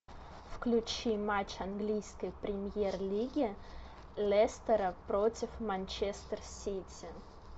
включи матч английской премьер лиги лестера против манчестер сити